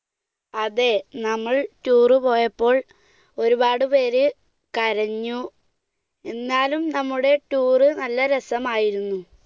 അതെ നമ്മൾ tour പോയപ്പോൾ ഒരുപാട് പേർ കരഞ്ഞു, എന്നാലും നമ്മുടെ tour നല്ല രസമായിരുന്നു.